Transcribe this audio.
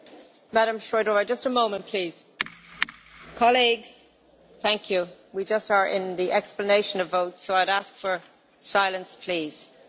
Paní předsedající, chci vysvětlit, proč jsem podpořila tuto zprávu, zejména se domnívám, že z tohoto opatření by měli